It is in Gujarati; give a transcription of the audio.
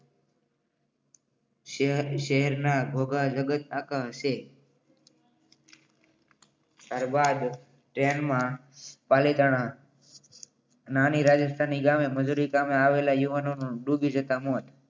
શહેરના ગોગા જગત આખા હશે. ત્યારબાદ ટ્રેનમાં પાલિકાના નાની રાજસ્થાન ગામે મંજૂરી કામ આવેલા યુવાનોનું ડૂબી જતા મોત.